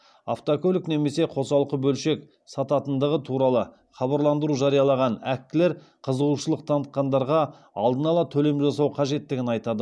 автокөлік немесе қосалқы бөлшек сататындығы туралы хабарландыру жариялаған әккілер қызығушылық танытқандарға алдын ала төлем жасау қажеттігін айтады